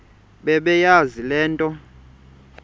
bebeyazi le nto